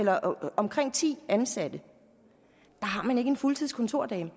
har omkring ti ansatte har man ikke en fuldtids kontordame